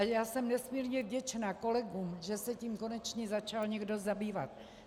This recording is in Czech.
A já jsem nesmírně vděčna kolegům, že se tím konečně začal někdo zabývat.